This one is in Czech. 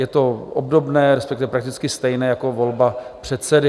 Je to obdobné, respektive prakticky stejné jako volba předsedy.